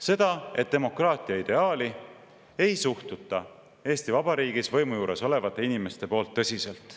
Seda, et demokraatia ideaali ei suhtu Eesti Vabariigis võimu juures olevad inimesed tõsiselt.